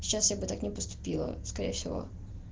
сейчас я бы так не поступила скорее всего